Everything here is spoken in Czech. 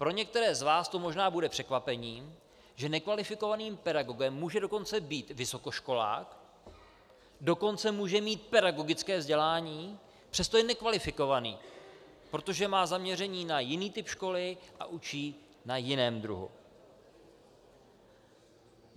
Pro některé z vás to možná bude překvapení, že nekvalifikovaným pedagogem může dokonce být vysokoškolák, dokonce může mít pedagogické vzdělání, přesto je nekvalifikovaný, protože má zaměření na jiný typ školy a učí na jiném druhu.